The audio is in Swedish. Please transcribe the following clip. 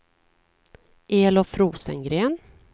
Elof Rosengren